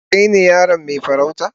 Kai ne yaron mai farauta?